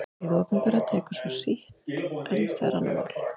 Hið opinbera tekur svo sitt en það er annað mál.